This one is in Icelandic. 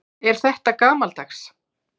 Er þetta gamaldags?